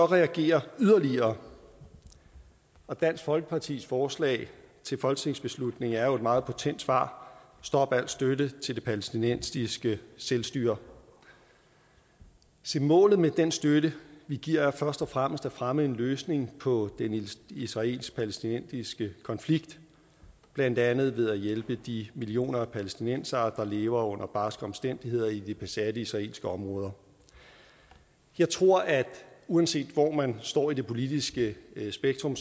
reagere yderligere og dansk folkepartis forslag til folketingsbeslutning er jo et meget potent svar stop al støtte til det palæstinensiske selvstyre se målet med den støtte vi giver er først og fremmest at fremme en løsning på den israelsk palæstinensiske konflikt blandt andet ved at hjælpe de millioner af palæstinensere der lever under barske omstændigheder i de besatte israelske områder jeg tror at uanset hvor man står i det politiske spektrum